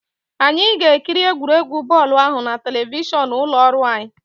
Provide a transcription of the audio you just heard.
Anyị ga-ekiri egwuregwu bọọlụ ahụ na telivishọn ụlọ ọrụ anyi